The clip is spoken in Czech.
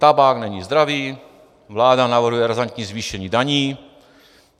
Tabák není zdravý, vláda navrhuje razantní zvýšení daní.